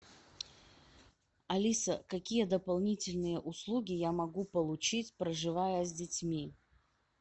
алиса какие дополнительные услуги я могу получить проживая с детьми